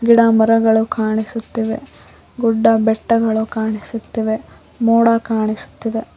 ಗಿಡಮರಗಳು ಕಾಣಿಸುತ್ತಿವೆ ಗುಡ್ಡ ಬೆಟ್ಟಗಳು ಕಾಣಿಸುತ್ತಿವೆ ಮೋಡ ಕಾಣಿಸುತ್ತಿದೆ.